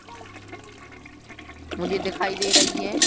मुझे दिखाई दे रही है।